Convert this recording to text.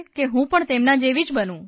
કે હું પણ તેમના જેવી જ બનું